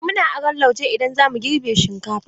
Eh, muna aron lauje idan zamu girbe shinkafa.